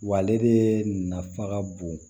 Wa ale de nafa ka bon